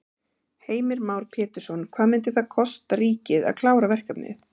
Heimir Már Pétursson: Hvað myndi það kosta ríkið að klára verkefnið?